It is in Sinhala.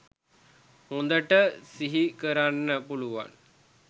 හොඳට සිහිකරන්න පුළුවන්